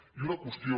i una qüestió